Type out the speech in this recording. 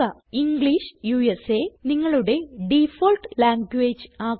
English നിങ്ങളുടെ default language ആക്കുക